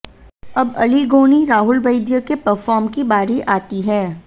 अब अली गोनी राहुल वैद्य के परफॉर्म की बारी आती है